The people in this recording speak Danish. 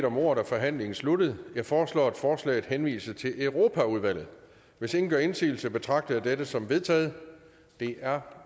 om ordet er forhandlingen sluttet jeg foreslår at forslaget henvises til europaudvalget hvis ingen gør indsigelse betragter jeg dette som vedtaget det er